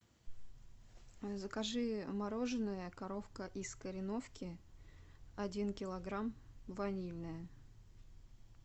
закажи мороженое коровка из кореновки один килограмм ванильное